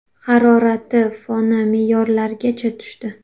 Harorat foni me’yorlargacha tushdi.